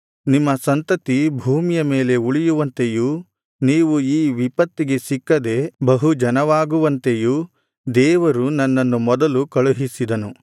ನಿಮ್ಮ ಸಂತತಿ ಭೂಮಿಯ ಮೇಲೆ ಉಳಿಯುವಂತೆಯೂ ನೀವು ಈ ವಿಪತ್ತಿಗೆ ಸಿಕ್ಕದೆ ಬಹು ಜನವಾಗುವಂತೆಯೂ ದೇವರು ನನ್ನನ್ನು ಮೊದಲು ಕಳುಹಿಸಿದನು